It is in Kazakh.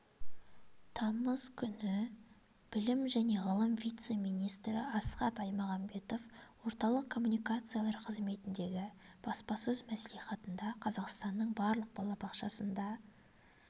тамыз күні білім және ғылым вице-министрі асхат аймағамбетов орталық коммуникациялар қызметіндегі баспасөз мәслихатында қазақстанның барлық балабақшасында